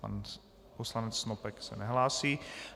Pan poslanec Snopek se nehlásí.